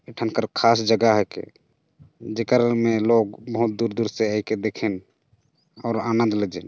ए ठेन ख़ास जगह है कि जेकर में लोग बहुत दूर-दूर से आइन के देखेन और आनंद ले जेन --